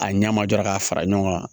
A ɲɛma jɔra k'a fara ɲɔgɔn kan